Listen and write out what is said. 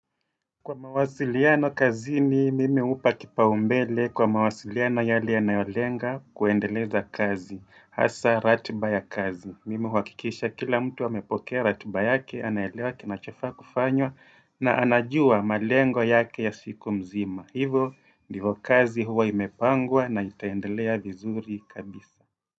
Kwa mawasiliano kazini, mimi hupa kipaombele kwa mawasiliano yale yanayolenga kuendeleza kazi, hasa ratba ya kazi. Mimi huhakikisha kila mtu amepokea ratiba yake, anaelewa kinachofaa kufanywa na anajua malengo yake ya siku mzima. Hivo, ndivo kazi huwa imepangwa na itaendelea vizuri kabisa.